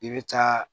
I bɛ taa